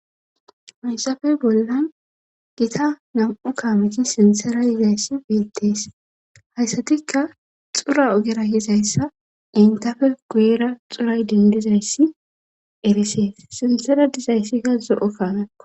Maysafey bollan gita nam'u kaameti sintsera yizayssi biltees hayssatikka xura ogera yizayssa intafe guyira xuray dindizayssi erisees sinsera dizayssikka zo'o kaanakko